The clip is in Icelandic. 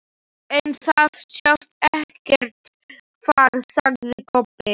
En það sást ekkert far, sagði Kobbi.